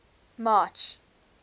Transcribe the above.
march